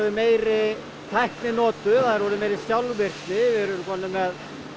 meiri tækni notuð það er orðin meiri sjálfvirkni við erum komnir með